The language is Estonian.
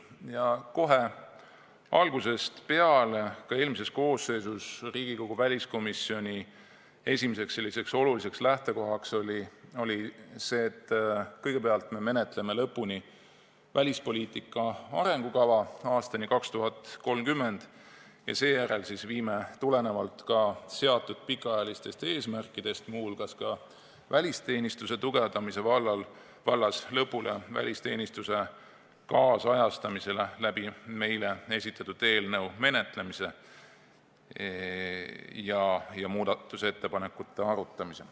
Ja kohe algusest peale oli ka eelmises koosseisus Riigikogu väliskomisjoni esimene oluline lähtekoht see, et kõigepealt menetleme lõpuni välispoliitika arengukava aastani 2030 ja seejärel viime tulenevalt seatud pikaajalistest eesmärkidest, muu hulgas välisteenistuse tugevdamise vallas, lõpule välisteenistuse kaasajastamise, arutades läbi esitatud eelnõu ja muudatusettepanekud.